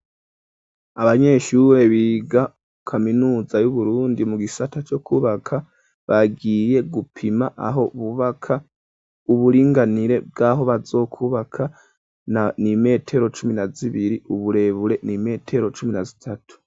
Abanyeshurre biga kaminuza y'uburundi mu gisata co kubaka bagiye gupima aho bubaka uburinganire bw'aho bazokubaka n'imetero cumi na zibiri uburebure n'imetero cumi na zitatu.